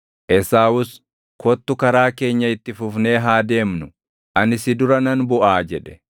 Esaawus, “Kottu karaa keenya itti fufnee haa deemnu; ani si dura nan buʼaa” jedhe.